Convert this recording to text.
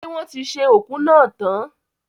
Ṣé wọ́n ti ṣe oku náà tán?